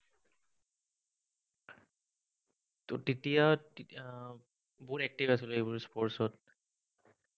তেতিয়া আহ বহুত active আছিলো, এইবোৰ sports ত